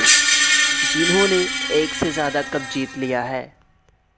جنہوں نے ایک سے زیادہ کپ جیت لیا ہے